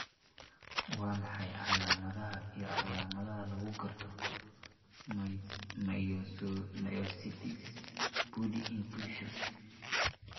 Waa maxay calaamadaha iyo calaamadaha lagu garto myositis body inclusion?